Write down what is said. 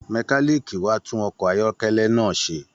Mẹ̀kániikí wà tun ọkọ ayọkẹlẹ náà ṣe.